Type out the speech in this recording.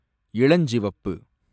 இளஞ்சிவப்பு